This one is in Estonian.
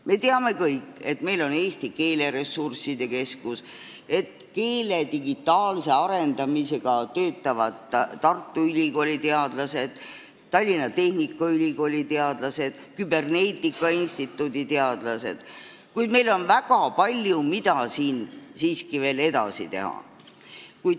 Me teame kõik, et meil on Eesti Keeleressursside Keskus ning et keele digitaalse arendamisega töötavad Tartu Ülikooli teadlased, Tallinna Tehnikaülikooli teadlased ja Küberneetika Instituudi teadlased, kuid siin on siiski veel väga palju, mida edasi teha.